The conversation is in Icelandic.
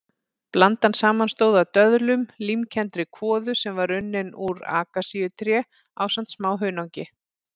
Blandan samanstóð af döðlum, límkenndri kvoðu sem var unnin úr akasíutré ásamt smá hunangi.